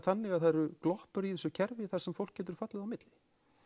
þannig að það eru gloppur í þessu kerfi þar sem fólk getur fallið á milli